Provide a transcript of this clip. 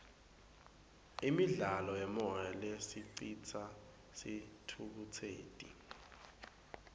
imidlalo yemoya lesicitsa sithukutseti